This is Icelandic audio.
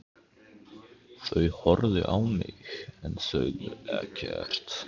Þau horfðu á mig en sögðu ekkert.